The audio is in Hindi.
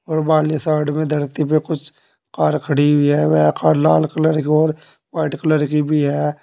और वाली साइड में धरती पे कुछ कार खड़ी हुए हैं। वे खा लाल कलर की और व्हाइट कलर की भी हैं।